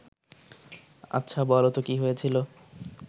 আচ্ছা, বলতো কী হয়েছিল